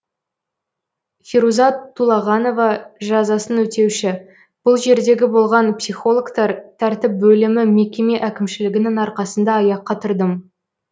феруза тулағанова жазасын өтеуші бұл жердегі болған психологтар тәртіп бөлімі мекеме әкімшілігінің арқасында аяққа тұрдым